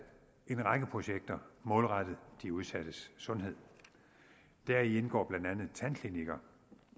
en række projekter der målrettet de udsattes sundhed deri indgår blandt andet tandklinikker